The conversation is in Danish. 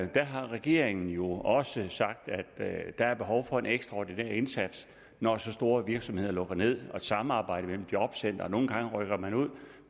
der har regeringen jo også sagt at der er behov for en ekstraordinær indsats når så store virksomheder lukker ned og et samarbejde mellem jobcentrene nogle gange rykker man ud